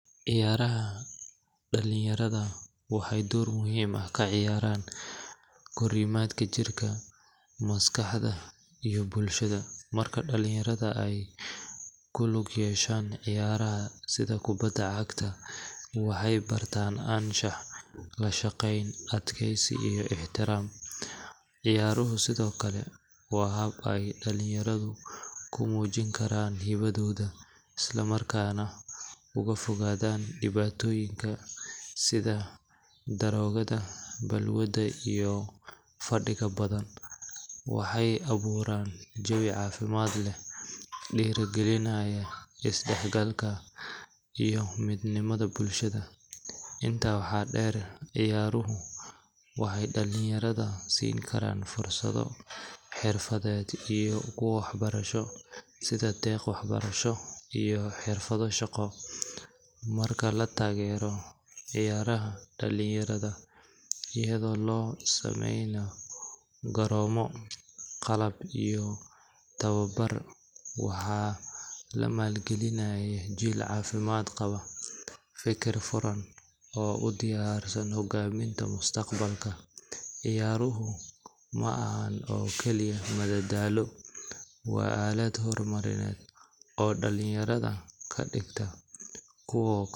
Ciyaaraha dhalin yarada waxay door muhiim ah kaciyaaran korimaadka jirka, maskaxda iyo bulshada, markay dhalin yarada ay kulug yeshan ciyaaraha sida kubada cagta, waxay bartan anshaxa, adkeysi, lashaqeyn iyo ixtiraam, ciyaaruhu sidokale waa hab ay dhalin yaradu kumuujin karan hibado'oda isla markana oga fogadaan dhibaatoyinla sida darogada balwada iyo fadhiga badan, waxay abuuran jebi caafimad leh dhiiri gelinaya is dhaxgalka iyo midnimada bulshada, inta waxaa dheer ciyaaruhu waxay dhalin yarada sini karaan fursado xirfadeed iyo kuwo wax barasho sida deeq wax barasho iyo xirfada shaqo, marka lataagero ciyaaraha, dhalin yarada iyado loo sameeynay garoomo qalab iyo tababar waxaa lamaal gelinayo jiil caafimad qabaa, fikir furan oo u diyarsan hogaaminta mustaqbalka, ciyaaruhu ma ahan keliya madadaalo waa alad horumarineed oo dhalin yarada kadhigta kuwo xirfadeysan